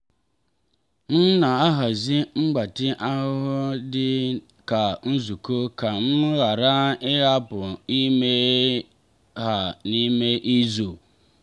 m na-ahazi mgbatị ahahụ dị ka nzukọ ka m ghara ịhapụ ime ha n'ime izu.